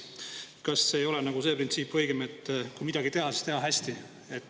Kas õigem ei ole see printsiip, et kui midagi teha, siis teha hästi?